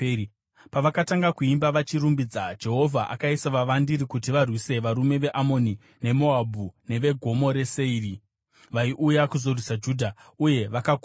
Pavakatanga kuimba vachirumbidza, Jehovha akaisa vavandiri kuti varwise varume veAmoni neMoabhu neveGomo reSeiri vaiuya kuzorwisa Judha, uye vakakundwa.